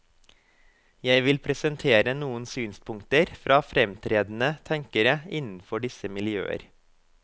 Jeg vil presentere noen synspunkter fra framtredende tenkere innenfor disse miljøer.